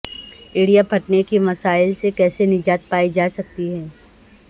ایڑیاں پھٹنے کے مسائل سے کیسے نجات پائی جا سکتی ہے